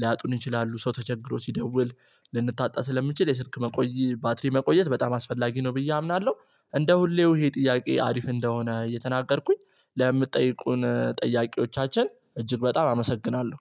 ሊያጡን ይችላሉ ሰው ተቸግሮ ሲደውል ልንታጣ ስለምንችል የስልክ መቆየት ባትሪ መቆየት በጣም አስፈላጊ ነው ብዬ አምናለሁ። እንደ ሁሌው ይሄ ጥያቄ አሪፍ እንደሆነ እየተናገርኩኝ ለምትጠይቁን ጠያቂዎቻችን እጅግ በጣም አመሰግናለሁ